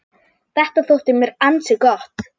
Þetta þótti mér ansi gott.